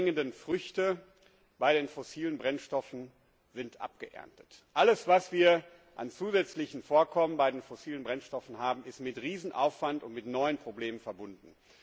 Der Abbau von allem, was wir an zusätzlichen Vorkommen bei den fossilen Brennstoffen haben, ist mit riesigem Aufwand und mit neuen Problemen verbunden.